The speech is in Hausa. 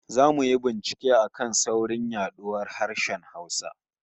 Zamu yi bincike a kan saurin yaduwar harshen Hausa